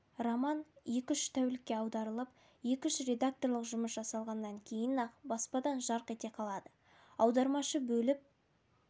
роман екі-үш тәулікте аударылып екі-үш редакторлық жұмыс жасалғаннан кейін-ақ баспадан жарқ ете қалады аудармашы бөліп